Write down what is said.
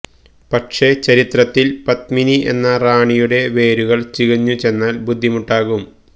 പക്ഷേ ചരിത്രത്തിൽ പത്മിനി എന്ന റാണിയുടെ വേരുകൾ ചികഞ്ഞു ചെന്നാൽ ബുദ്ധിമുട്ടാകും